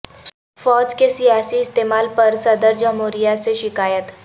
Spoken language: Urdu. فوج کے سیاسی استعمال پر صدر جمہوریہ سے شکایت